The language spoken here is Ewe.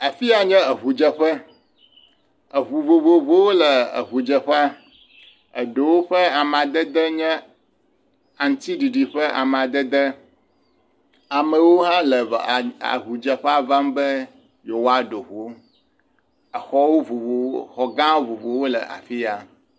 Afi ya nye eŋudzeƒe, eŋu vovovowo le eŋudzeƒea, eɖewo ƒe amadede nye aŋutiɖiɖi ƒe amadede amewo hã le va..a..a…ŋudzeƒea vam be yewoaɖo ŋu, exɔwo vovovowo xɔ gã vovovowo le afi ya.